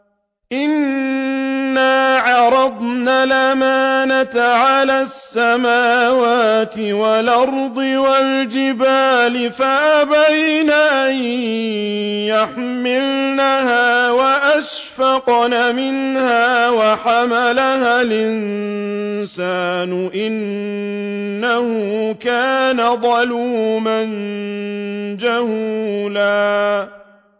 إِنَّا عَرَضْنَا الْأَمَانَةَ عَلَى السَّمَاوَاتِ وَالْأَرْضِ وَالْجِبَالِ فَأَبَيْنَ أَن يَحْمِلْنَهَا وَأَشْفَقْنَ مِنْهَا وَحَمَلَهَا الْإِنسَانُ ۖ إِنَّهُ كَانَ ظَلُومًا جَهُولًا